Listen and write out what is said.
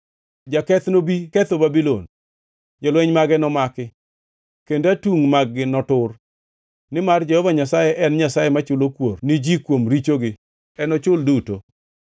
Jaketh nobi ketho Babulon; jolweny mage nomaki, kendo atungʼ mag-gi notur. Nimar Jehova Nyasaye en Nyasaye machulo kuor ni ji kuom richogi; enochul duto.”